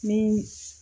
Ni